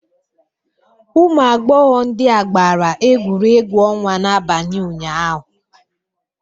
Ụmụ agbọghọ ndị a gbara egwuregwu ọnwa n'abalị ụnyaahụ.